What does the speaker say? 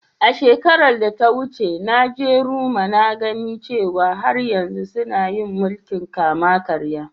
Shekaran da ta wuce, na je Roma na gane cewa har yanzu suna yin mulki'n kama-karya.